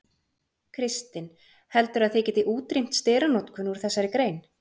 Kristinn: Heldurðu að þið getið útrýmt steranotkun úr þessari grein?